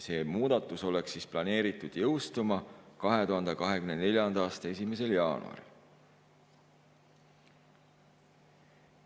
See muudatus oleks planeeritud jõustuma 2024. aasta 1. jaanuaril.